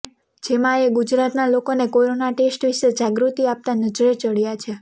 જેમાં એ ગુજરાતનાં લોકોને કોરોના ટેસ્ટ વિષે જાગૃતિ આપતા નજરે ચઢ્યા છે